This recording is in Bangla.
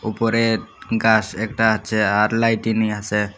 উপরে গাস একটা আছে আর লাইটিনি আছে।